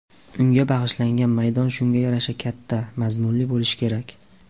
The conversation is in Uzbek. Unga bag‘ishlangan maydon shunga yarasha katta, mazmunli bo‘lishi kerak.